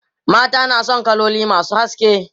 mata na San kaloli masu haske